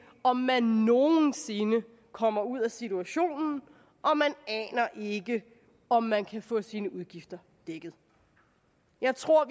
om man nogen sinde kommer ud af situationen og man aner ikke om man kan få sine udgifter dækket jeg tror